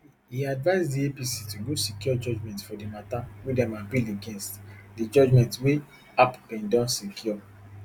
e advise di apc to go secure judgement for di matter wey dem appeal against di judgement wey app bin don secure